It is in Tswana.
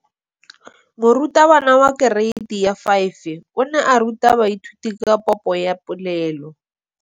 Moratabana wa kereiti ya 5 o ne a ruta baithuti ka popô ya polelô.